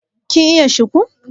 kin iya shiku